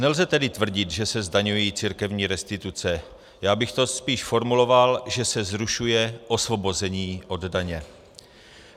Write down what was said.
Nelze tedy tvrdit, že se zdaňují církevní restituce, já bych to spíš formuloval, že se zrušuje osvobození od daně.